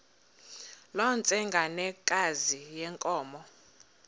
loo ntsengwanekazi yenkomo